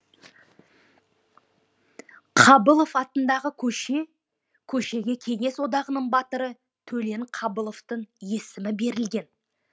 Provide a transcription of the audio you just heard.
қабылов атындағы көше көшеге кеңес одағының батыры төлен қабыловтың есімі берілген